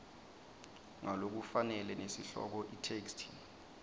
ngalokufanele nesihloko itheksthi